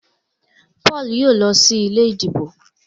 Paul yóò ló sí ilé ìdìbò.